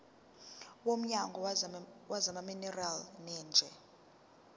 womnyango wezamaminerali neeneji